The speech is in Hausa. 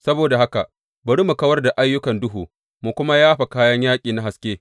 Saboda haka bari mu kawar da ayyukan duhu mu kuma yafa kayan yaƙi na haske.